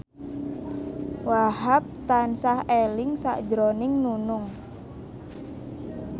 Wahhab tansah eling sakjroning Nunung